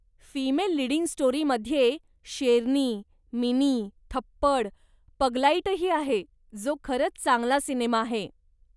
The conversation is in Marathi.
फीमेल लिडिंग स्टोरीमध्ये शेरनी, मिनी, थप्पड, पगलाइटही आहे, जो खरंच चांगला सिनेमा आहे.